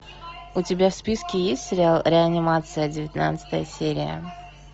у тебя в списке есть сериал реанимация девятнадцатая серия